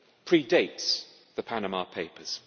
pre dates the Panama Papers.